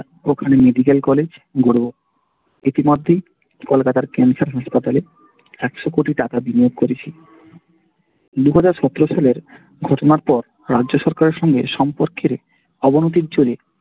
ওখানে medical college গড়বো। ইতিমধ্যেই কলকাতার cancer হাসপাতালে একশ কোটি টাকা বিনিয়োগ করেছি দু হাজার সতের সালের ঘটনার পর রাজ্য সরকারের সঙ্গে সম্পর্কের অবনতি জোরে